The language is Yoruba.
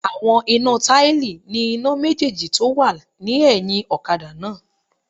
Àwọn iná táìlì ní iná méjèjì tó wà ní ẹ̀hìn ọ̀kadà náà